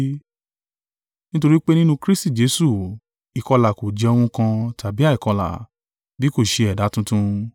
Nítorí pé nínú Kristi Jesu, ìkọlà kò jẹ́ ohun kan, tàbí àìkọlà, bí kò ṣe ẹ̀dá tuntun.